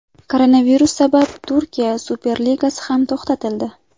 Koronavirus sabab Turkiya Superligasi ham to‘xtatildi.